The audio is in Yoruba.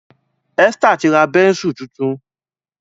Esther tí ra Bẹ́ńsù títún.